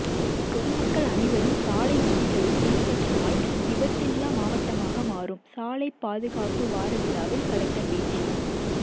பொதுமக்கள் அனைவரும் சாலை விதிகளை பின்பற்றினால் விபத்தில்லா மாவட்டமாக மாறும் சாலை பாதுகாப்பு வார விழாவில் கலெக்டர் பேச்சு